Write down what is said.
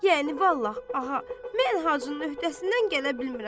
Yəni vallah, ağa, mən Hacının öhdəsindən gələ bilmirəm.